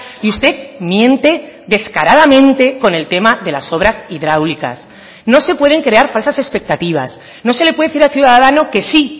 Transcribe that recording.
y usted miente descaradamente con el tema de las obras hidráulicas no se pueden crear falsas expectativas no se le puede decir a ciudadano que sí